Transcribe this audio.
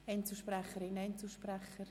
Oder Einzelsprecherinnen und Einzelsprecher?